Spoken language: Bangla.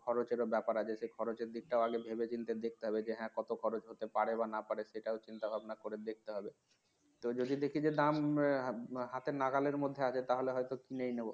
খরচের ও ব্যাপার আছে সেই খরচের দিকটাও আগে ভেবেচিন্তে দেখতে হবে যে হ্যাঁ কত খরচ হতে পারে বা না পারে সেটাও চিন্তা ভাবনা করে দেখতে হবে তো যদি দেখি যে দাম হাতের নাগালের মধ্যে আছে তাহলে হয়তো কিনেই নেবো